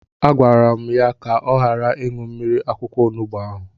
A gwara m ya ka ọ ghara ịṅụ mmiri akwụkwọ onubu ahụ!